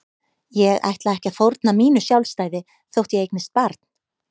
Ég ætla ekki að fórna mínu sjálfstæði þótt ég eignist barn.